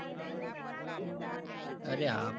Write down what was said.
અરે હા ભાઈ